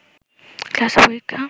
class ও পরীক্ষা